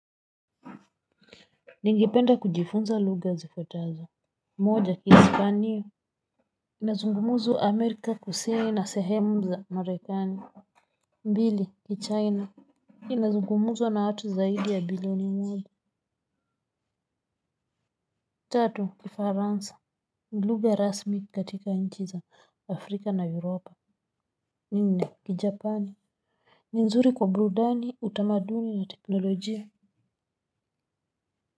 Ningependa kujifunza lugha zifuatazo. Moja ki hispaniyo. Inazungumuzwa Amerika Kusini na sehemu za Marekani. Mbili, ki China. Inazungumuzwa na watu zaidi ya bilioni moja. Tatu, ki Faransa. Lugha rasmi katika nchi za Afrika na Europa. Nine, ki Japani. Ninzuri kwa buludani, utamaduni na teknolojia.